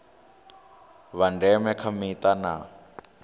vha ndeme kha mita na